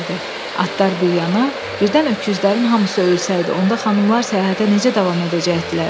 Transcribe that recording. Atlar bir yana, birdən öküzlərin hamısı ölsəydi, onda xanımlar səyahətə necə davam edəcəydilər?